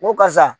N ko karisa